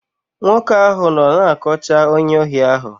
Nwoke ahụ nọ na-akọcha onye ohi ahụ.